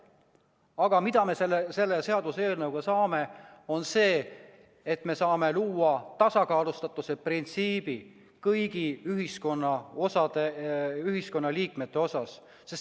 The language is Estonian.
Aga mida me selle seaduseelnõuga saame, on see, et me saame luua tasakaalustatuse printsiibi kõigi ühiskonnaliikmete osas.